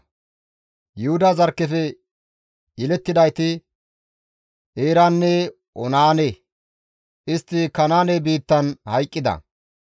Yuhuda zarkkefe yelettidayti, Eeranne Oonaane; istti Kanaane biittan hayqqida.